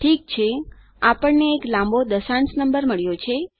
ઠીક છે આપણને એક લાંબો દશાંશ નંબર મળ્યો છે